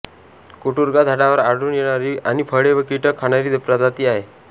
कुटूरगा झाडावर आढळून येणारी आणि फळे व कीटक खाणारी प्रजाती आहे